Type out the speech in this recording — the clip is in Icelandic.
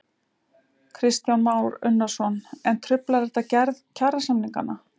Kristján Már Unnarsson: En truflar þetta gerð kjarasamninganna?